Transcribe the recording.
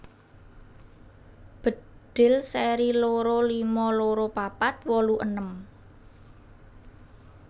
Bedhil seri loro lima loro papat wolu enem